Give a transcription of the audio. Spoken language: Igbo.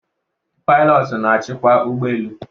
pilotu na-achịkwa ụgbọ elu